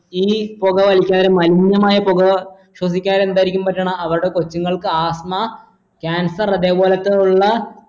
ഈ പൊക വലിച്ച നേരം മലിനമായ പൊക ശ്രെദ്ധിക്കാതിരുന്ന എന്താ ഈ പറ്റണെ അവർടെ കൊച്ചുങ്ങൾക്ക് asthma cancer അതെ പോലെത്തുള്ള